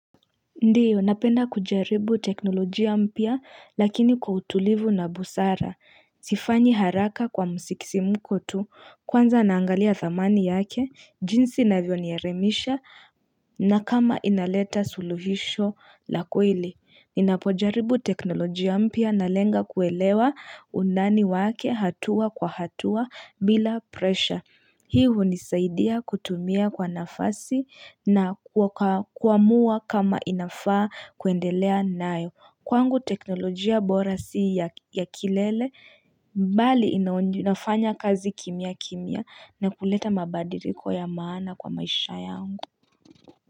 Ndio, napenda kujaribu teknolojia mpya lakini kwa utulivu na busara. Sifanyi haraka kwa musikisimko tu kwanza naangalia thamani yake, jinsi ina vyo nielimisha na kama inaleta suluhisho lakweli. Ninapojaribu teknolojia mpya na lenga kuelewa undani wake hatua kwa hatua bila presha. Hii hunisaidia kutumia kwa nafasi na kuamua kama inafaa kuendelea nayo Kwangu teknolojia borasi ya kilele bali inafanya kazi kimya kimya na kuleta mabadiliko ya maana kwa maisha yangu.